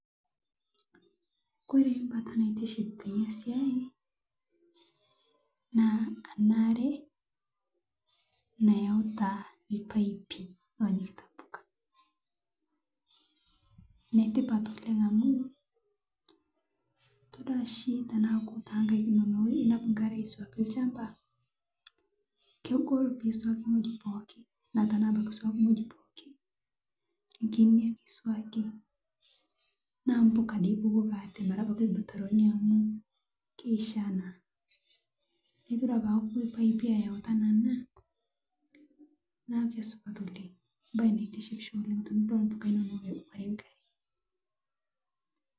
Kore mbata naitiship teinia siai naa ana aree nayautaa lpaipii Lonyikitaa mpukaa netipat oleng amu itodua shi tanaaku tenkaik inonoo inap nkaree aisuakii lshampaa kegol pisuakii nghojii pooki naa tanaa abaki isuaki nghojii pooki nkinii ake isuakii naa mpuka dei ibukokii atee mara lmutaroni amu keishaa naa itodua tanaaku lpaipii eyau tanaa anaa naa keisupat oleng mbai naitishipshoo tinidol mpuka inonoo eboree nkaree